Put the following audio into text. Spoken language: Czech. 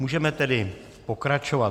Můžeme tedy pokračovat.